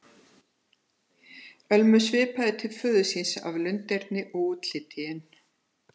Ölmu svipar til föður síns að lunderni og í útliti, en